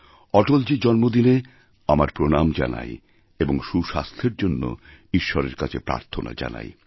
অটলজীর জন্মদিনে আমার প্রণাম জানাই এবং সুস্বাস্থ্যেরজন্য ঈশ্বরের কাছে প্রার্থনা জানাই